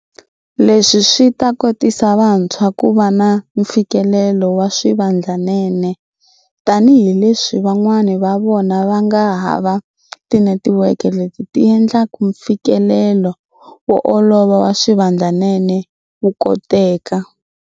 Leswi swi ta kotisa vantshwa ku va na mfikelelo wa swivandlanene tanihileswi van'wana va vona va nga hava tinetiweke leti ti endlaka mfikelelo wo olova wa swivandlanene wu koteka.